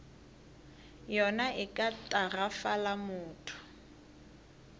yona e ka tagafala motho